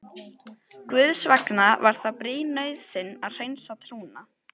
Guðs vegna var það brýn nauðsyn að hreinsa trúna.